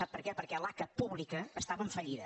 sap per què perquè l’aca pública estava en fallida